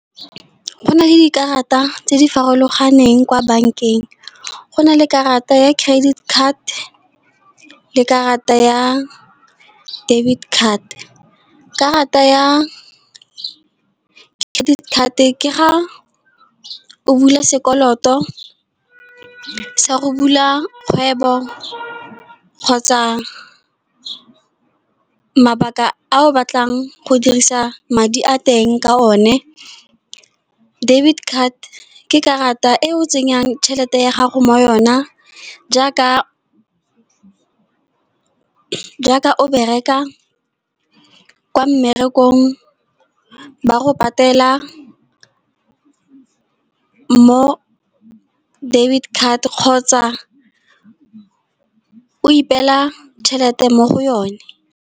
Go na le dikarata tse di farologaneng kwa bank-eng. Go na le karata ya credit card le karata ya debit card. Karata ya credit card, ke ga o bula sekoloto sa go bula kgwebo, kgotsa mabaka a o batlang go dirisa madi a teng ka one. Debit card ke karata e o tsenyang tšhelete ya gago mo yona jaaka o bereka kwa mmerekong ba go patela, mo debit card kgotsa o ipela tšhelete mo go yone.